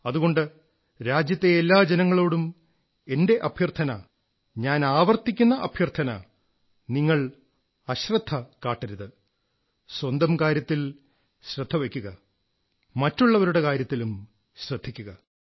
അതുകൊണ്ട് രാജ്യത്തെ എല്ലാ ജനങ്ങളോടും എന്റെ അഭ്യർഥന ഞാൻ ആവർത്തിക്കുന്ന അഭ്യർഥന നിങ്ങൾ അശ്രദ്ധ കാട്ടരുത് സ്വന്തം കാര്യത്തിൽ ശ്രദ്ധ വയ്ക്കുക മറ്റുള്ളവരുടെ കാര്യത്തിലും ശ്രദ്ധിക്കുക